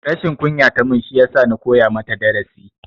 Rashin kunya tamun shiyasa ya koya mata darasi